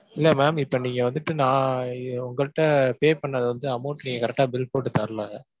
இல்லை ma'am இப்ப நீங்க வந்துட்டு நான் உங்கள்ட்ட pay பண்ணது வந்து amount நீங்க correct டா bill போட்டுத்தரல